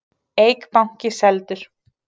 Eik banki seldur